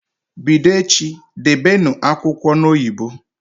Bido echi, Debenụ akwụkwọ n'oyibo!